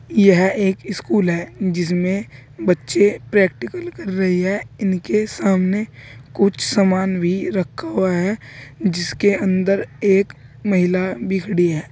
यह एक स्कूल है जिसमें बच्चे प्रैक्टिकल कर रहे है इनके सामने कुछ सामान भी रखा हुआ है जिसके अंदर एक महिला भी खड़ी है।